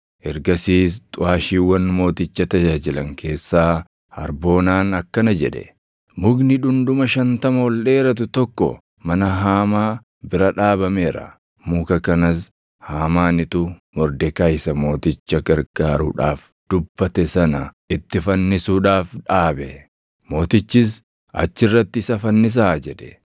Ergasiis xuʼaashiiwwan mooticha tajaajilan keessaa Harboonaan akkana jedhe; “Mukni dhundhuma shantama ol dheeratu tokko mana Haamaa bira dhaabameera. Muka kanas Haamaanitu Mordekaayi isa mooticha gargaaruudhaaf dubbate sana itti fannisuudhaaf dhaabe.” Mootichis, “Achi irratti isa fannisaa!” jedhe.